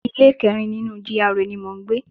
Ilé kẹrin nínú GRA ni mò ń gbé